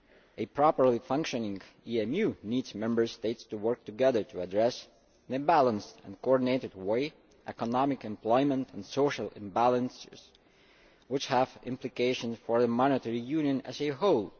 A properly functioning EMU needs the Member States to work together to address, in a balanced and coordinated way, economic, employment and social imbalances which have implications for monetary union as a whole.